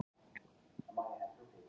Þjóð veit, ef þrír eru.